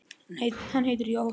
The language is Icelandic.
Hann heitir Jóhann